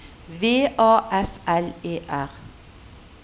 V A F L E R